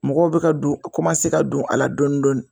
Mɔgɔw bɛ ka don ka don a la dɔɔni dɔɔni